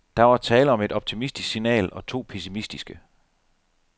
Der var tale om et optimistisk signal og to pessimistiske.